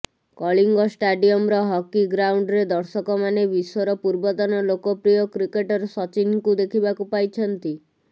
କଳିଙ୍ଗ ଷ୍ଟାଡିୟମ୍ର ହକି ଗ୍ରାଉଣ୍ଡରେ ଦର୍ଶକମାନେ ବିଶ୍ୱର ପୂର୍ବତନ ଲୋକପ୍ରିୟ କ୍ରିକେଟର ସଚିନଙ୍କୁ ଦେଖିବାକୁ ପାଇଛନ୍ତି